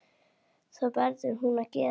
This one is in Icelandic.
Það verður hún að gera.